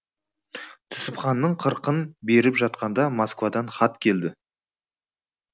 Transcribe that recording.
түсіпханның қырқын беріп жатқанда москвадан хат келді